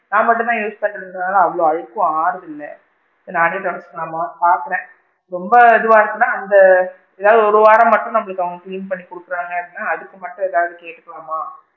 நான் மட்டும் தான் use பண்றதுனால அவ்வளோ அழுக்கும் ஆகுறது இல்ல, நானே துடைச்சிக்கலாமா பாக்குறேன் ரொம்ப இதுவா இருந்துச்சுனா அந்த ஏதாவது ஒரு வாரம் மட்டும் நம்மளுக்கு அவுங்க clean பண்ணி குடுக்குறாங்கன்னா அதுக்கு மட்டும் ஏதாவது கேக்கலாமா!